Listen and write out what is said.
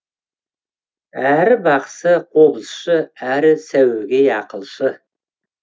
әрі бақсы қобызшы әрі сәуегей ақылшы